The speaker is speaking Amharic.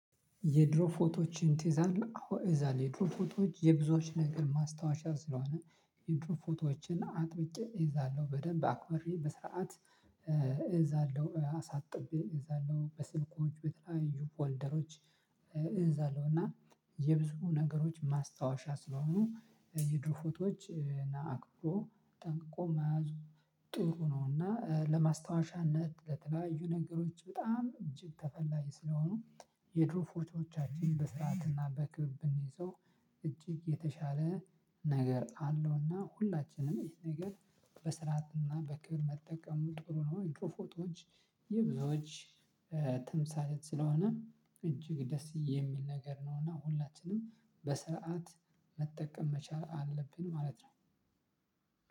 የድሮ ፎቶዎችን ትይዛለህ አሁን እዛል የድሮ ፎቶዎች የብዙዎች ነገር ማስታወሻ ስለሆነ የድሮ ፎቶዎችን አጥብቄ እይዛለሁ በደንብ አክበሬ በስርዓት እይዛለሁ አሳጥቤ እይዛለሁ በስልኮች በተለያዩ ፎልደሮች። እዛለሁ እና የብዙ ነገሮች ማስታወሻ ስለሆኑ የድሮ ፎቶዎች አክብሮ ጠንቅቆ መያዙ ጥሩ ነው። እና ለማስታወሻነት ለተለያዩ ነገሮች በጣም እጅግ ተፈላጊ ስለሆኑ የድሮ ፎቶዎቻችን በስርአትና በክብር ብንይዘው እጅግ የተሻለ ነገር አለውና ሁላችንም ይህ ነገር በስርዓት እና በክብር መጠቀሙ ጥሩ ነው። የድሮ ፎቶዎች የብዙዎች ተምሳሌት ስለሆነ እጅግ ደስ የሚል ነገር ነው። እና ሁላችንም በሰአት መጠቀም መቻል አለብን ማለት ነው።